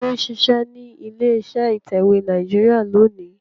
Tani ó ń ṣiṣẹ́ ní ilé iṣẹ́ ìtẹ̀wé Nàìjíríà lónìí?